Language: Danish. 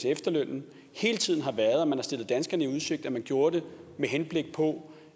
efterlønnen hele tiden har været at man har stillet danskerne i udsigt at man gjorde det med henblik på